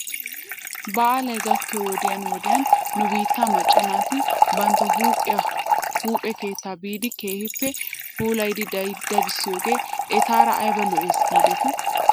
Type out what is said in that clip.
Baalay gakkiyoo wodiyan wodiyan nu biittaa macca naati bantta huuphphiyaa huuphe keettaa biidi keehippe puulayidi dadissidoogee etaara ayba lo'es giidetii?